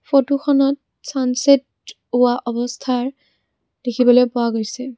ফটোখনত ছান ছেট হোৱা অৱস্থাৰ দেখিবলৈ পোৱা গৈছে।